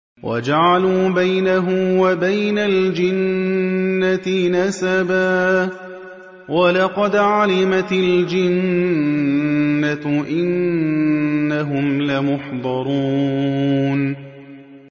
وَجَعَلُوا بَيْنَهُ وَبَيْنَ الْجِنَّةِ نَسَبًا ۚ وَلَقَدْ عَلِمَتِ الْجِنَّةُ إِنَّهُمْ لَمُحْضَرُونَ